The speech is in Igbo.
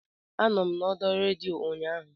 Anọ m n'ọdọ redio ụnyaahụ